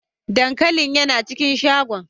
Dankalin yana cikin shagon.